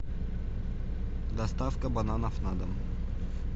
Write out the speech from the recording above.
доставка бананов на дом